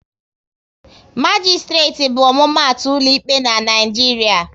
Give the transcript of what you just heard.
Magisitireti bụ omumatu ụlọ ikpe n'Naijiria